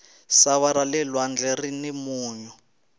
sava rale lwandle rini munyu